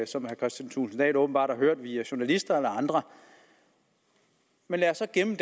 som herre kristian thulesen dahl åbenbart har hørt via journalister eller andre men lad os gemme